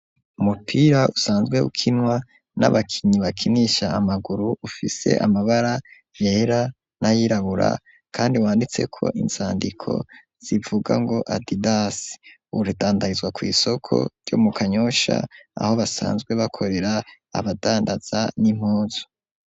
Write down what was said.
Umupira usanzwe ukinwa n'abakinyi bakinisha amaguru. Ufise amabara yera nayirabura kandi wanditse ko inzandiko zivuga ngo adidas udandarizwa ku isoko ryo mu kanyosha aho basanzwe bakorera abadandaza n'impunzu.